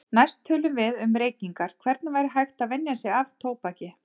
Næst tölum við um reykingar, hvernig væri hægt að venja sig af tóbaki.